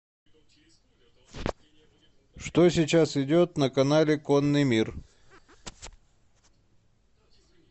что сейчас идет на канале конный мир